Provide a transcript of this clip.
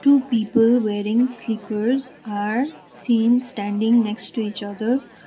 two people wearing slippers are seen standing next to each other.